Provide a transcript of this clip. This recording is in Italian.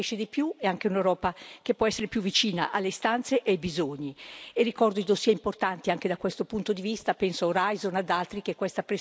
E ricordo dossier importanti anche da questo punto di vista, penso a Horizon e ad altri, che questa Presidenza dovrà, con la sua capacità e con il contributo di tutti, portare a conclusione.